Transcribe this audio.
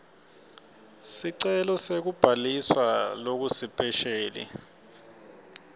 sicelo sekubhaliswa lokusipesheli